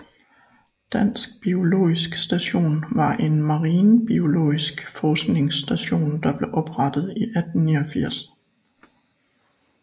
Dansk biologisk Station var en marinbiologisk forskningsstation der blev oprettet 1889